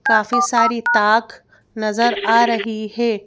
काफी सारी ताक नजर आ रही है।